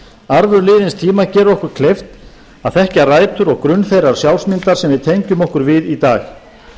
arfur liðins tíma gerir okkur kleift að þekkja rætur og grunn þeirrar sjálfsmyndar sem við tengjum okkur við í dag